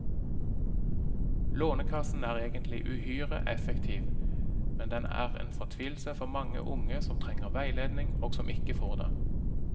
Lånekassen er egentlig uhyre effektiv, men den er en fortvilelse for mange unge som trenger veiledning og som ikke får det.